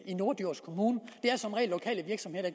i norddjurs kommune det er som regel lokale virksomheder